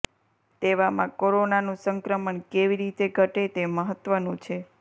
તેવામાં કોરોનાનું સંક્રમણ કેવી રીતે ઘટે તે મહત્વનું છે